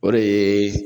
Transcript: O de ye